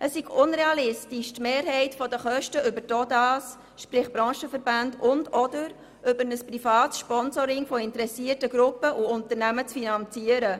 Es sei realistisch, die Mehrheit der Kosten über die OdA, sprich Branchenverbände, und/oder ein privates Sponsoring interessierter Gruppen oder Unternehmen zu finanzieren.